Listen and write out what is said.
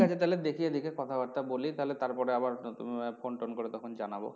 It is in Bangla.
তাহলে দেখি এদিকে কথা বার্তা বলি তাহলে আবার phone tone করে তখন জানাবো।